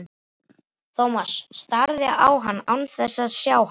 Thomas starði á hann án þess að sjá hann.